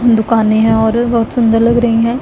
दुकाने हैं और बहुत सुंदर लग रही है।